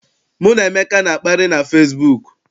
Mụ na Emeka na-akparị na fesibuuku.